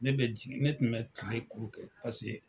Ne bɛ jigin, ne tun bɛ kile kurunkɛ pase.